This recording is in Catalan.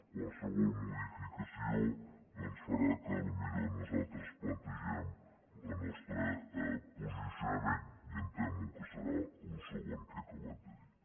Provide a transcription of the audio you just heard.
qualsevol modificació doncs farà que potser nosaltres plantegem el nostre posicionament i em temo que serà el segon que he acabat de dir